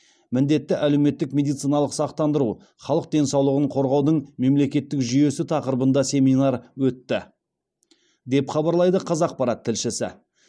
міндетті әлеуметтік медициналық сақтандыру халық денсаулығын қорғаудың мемлекеттік жүйесі тақырыбында семинар өтті деп хабарлайды қазақпарат тілшісі